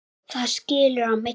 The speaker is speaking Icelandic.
Þar skilur á milli.